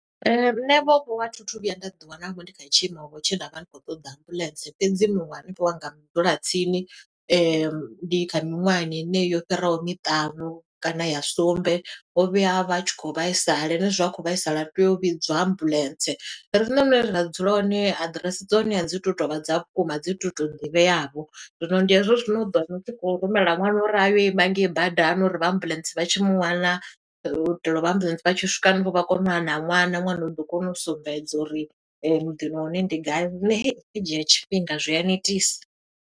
Nṋe vho vho, a thi thu vhuya nda ḓi wana vho, ndi kha tshiimo vho tshe nda vha ndi khou ṱoḓa ambuḽentse. Fhedzi muṅwe hanefha wanga mudzulatsini, ndi kha miṅwahani heneyo yo fhiraho miṱanu kana ya sumbe. U vhuya a vha a tshi khou vhaisala, henezwi a khou vhaisala, ri tea u vhidzwa ambuḽentse. Riṋe hune ra dzula hone, aḓirese dza hone a dzi tu tovha dza vhukuma, a dzi tu to ḓivheavho. Zwino ndi hezwo zwine u ḓo wana u tshi khou rumela ṅwana uri ayo ima ngei badani uri vha ambuḽentse vha tshi mu wana. U itela u vha ambuḽentse vha tshi swika hanefho vha kone u wana ṅwana. Ṅwana u ḓo kona u sumbedza uri muḓini wa hone ndi gai, zwine hei, zwi ḓo dzhia tshifhinga, zwi a netisa.